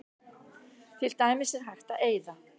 Til dæmis er hægt að eyða